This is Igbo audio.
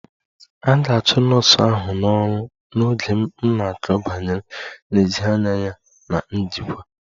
A ga-achụ nọọsụ ahụ n'ọrụ n'oge m na-akọ banyere nlezianya ya na njikwa